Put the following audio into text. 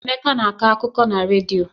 Emeka na-akọ akụkọ na redio.